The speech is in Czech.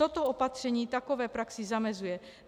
Toto opatření takové praxi zamezuje.